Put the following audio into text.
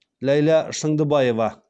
ләйла шыңдыбаева